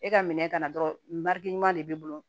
E ka minɛ kana dɔrɔn n ka ɲuman de b'i bolo